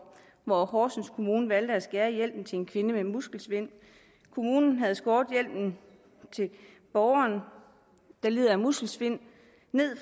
hvor horsens kommune valgte at skære i hjælpen til en kvinde med muskelsvind kommunen havde skåret hjælpen til borgeren der lider af muskelsvind ned